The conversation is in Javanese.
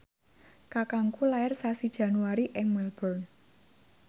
kakangku lair sasi Januari ing Melbourne